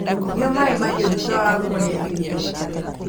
Nyua maĩ mahiu thutha wa kũrĩa irio